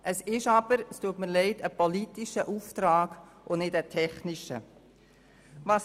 Aber leider handelt es sich um einen politischen Auftrag und nicht um einen technischen.